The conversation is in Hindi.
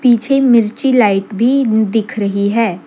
पीछे मिर्ची लाइट भी दिख रही है।